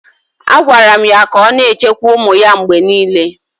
A gwaara m ya ka ọ na-echekwa ụmụ ya mgbe niile.